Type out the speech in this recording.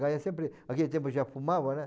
Lá é sempre... Naquele tempo já fumava, né?